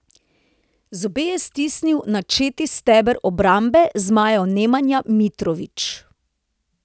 Zobe je stisnil načeti steber obrambe zmajev Nemanja Mitrović.